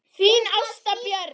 Þín Ásta Björk.